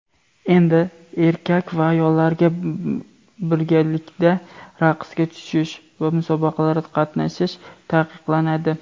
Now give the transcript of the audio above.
endi erkak va ayollarga birgalikda raqsga tushish va musobaqalarda qatnashish taqiqlanadi.